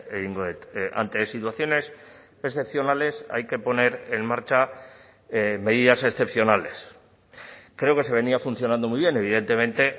egingo dut ante situaciones excepcionales hay que poner en marcha medidas excepcionales creo que se venía funcionando muy bien evidentemente